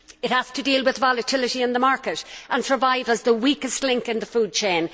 It has to deal with volatility in the market and survive as the weakest link in the food chain.